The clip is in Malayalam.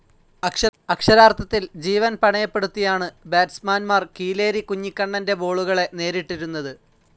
അക്ഷരാർത്ഥത്തിൽ ജീവൻ പണയപ്പെടുത്തിയാണു ബാറ്റ്സ്മാന്മാർ കീലേരി കുഞ്ഞിക്കണ്ണന്റെ ബോളുകളെ നേരിട്ടിരുന്നത്.